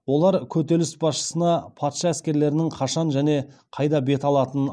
олар көтеріліс басшысына патша әскерлерінің қашан және қайда бет алатынын